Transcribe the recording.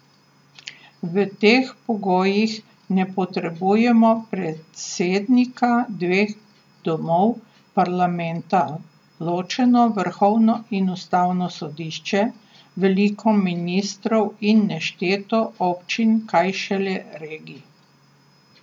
V teh pogojih ne potrebujemo predsednika, dveh domov parlamenta, ločeno vrhovno in ustavno sodišče, veliko ministrstev in nešteto občin, kaj šele regije.